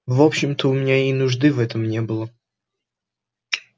в общем-то у меня и нужды в этом не было